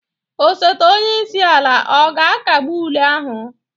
Osote onye isi ala ọ ga-akagbu ule ahụ?